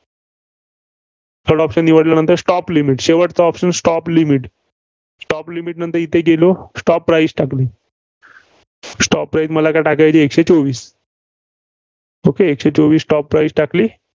third option निवडल्यानंतर Stop limit शेवटचं option stop limit stop limit नंतर येथे गेलो, stop price टाकली. stop price मला काय टाकायची आहे एकशे चोवीस. okay एकशे चोवीस stop price टाकली.